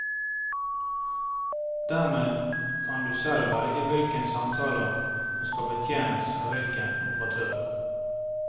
Dermed kan du selv velge hvilke samtaler som skal betjenes av hvilken operatør.